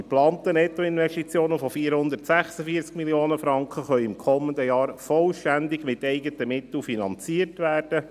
Die geplanten Nettoinvestitionen von 446 Mio. Franken können im kommenden Jahr vollständig mit eigenen Mitteln finanziert werden.